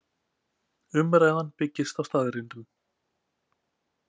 Umræðan byggist á staðreyndum